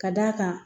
Ka d'a kan